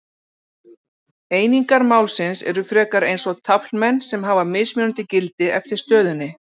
Einingar málsins eru frekar eins og taflmenn sem hafa mismunandi gildi eftir stöðunni.